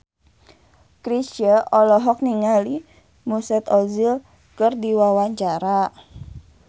Chrisye olohok ningali Mesut Ozil keur diwawancara